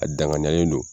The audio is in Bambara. A danganiyalen don